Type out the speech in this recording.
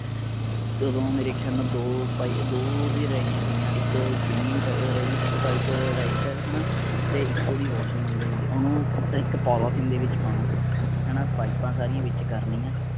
ਓਦੋ ਮੇਰੇ ਖਯਾਲੇ ਦੋ ਪਾਈ ਦੋ ਉਦੀਆਂ ਰਹਿਗੀਆਂ ਸਿਗੀਆਂ ਇੱਕ ਕਿਡਨੀ ਦੀ ਪਾਈਪ ਰਹਿਗੀ ਸੀਗੀ ਪਾਈਪ rightside ਹੈਨਾ ਤੇ ਇੱਕ ਓਹਦੀ washroom ਆਲੀ ਰਹਿ ਗਈ ਸੀ। ਓਹਨੂੰ ਇੱਕ polythene ਦੇ ਵਿਚ ਪਾਉਣਾ ਹੈਨਾ। ਪਾਈਪਾਂ ਸਾਰੀਆਂ ਵਿਚ ਕਰਨੀਆਂ